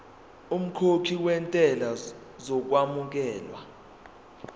umkhokhi wentela uzokwamukelwa